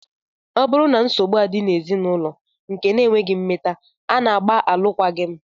Ọ bụrụ na nsogbu adị n'ezinụlọ nke ekweghị mmeta, a na-agba alụkwaghị m